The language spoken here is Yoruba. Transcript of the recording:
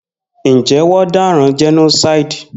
Njé won dáràn genocide?